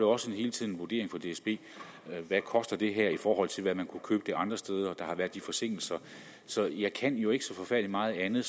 også hele tiden en vurdering for dsb hvad det koster i forhold til hvad man kunne købe det for andre steder der har været de forsinkelser så jeg kan jo ikke gøre så forfærdelig meget andet